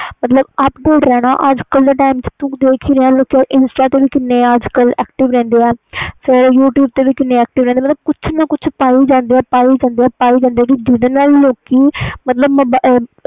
ਮਤਬਲ update ਰਹਿਣਾ ਅੱਜ ਕਲ ਦੇ time ਵਿਚ insta ਤੇ ਵੀ active ਰਹਿੰਦੇ ਆ ਤੇ youtube ਤੇ ਵੀ active ਰਹਿੰਦੇ ਆ ਕੁਛ ਨਾ ਕੁਛ ਪੈ ਜਾਂਦੇ ਆ ਜਿੰਨ੍ਹਦੇ ਨਾਲ ਲੋਕੀ